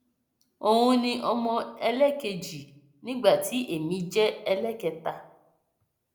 òun ni ọmọ ẹlẹẹkejì nígbà tí èmi jẹ ẹlẹẹkẹta